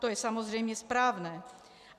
To je samozřejmě správné.